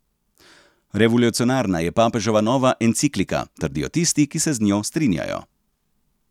Revolucionarna je papeževa nova enciklika, trdijo tisti, ki se z njo strinjajo.